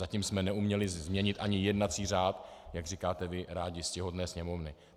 Zatím jsme neuměli změnit ani jednací řád, jak říkáte vy rádi, ctihodné Sněmovny.